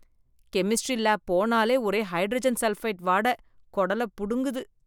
Chemistry lab போனாலே ஒரே hydrogen sulphide வாட, கொடலப் புடுங்குது.